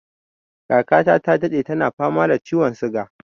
Kaka ta ta daɗe tana fama da ciwon suga